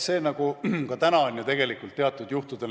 See on ka praegu teatud juhtudel võimalik.